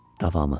Davamı.